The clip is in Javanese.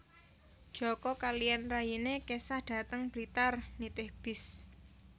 Joko kaliyan rayine kesah dhateng Blitar nitih bis